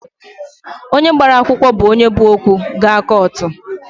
Onye gbara akwụkwụ bụ onye bu okwu gaa kụtụ